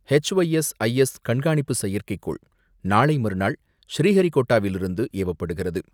H Y S I S கண்காணிப்பு செயற்கைக்கோள் நாளை மறுநாள் ஸ்ரீஹரிகோட்டாவிலிருந்து ஏவப்படுகிறது.